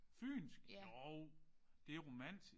Fynsk? Jo det er romantisk